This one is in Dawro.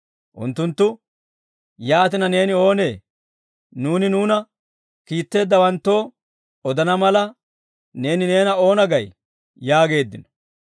Unttunttu, «Yaatina neeni oonee? Nuuni nuuna kiitteeddawanttoo odana mala, neeni neena oona gay?» yaageeddino.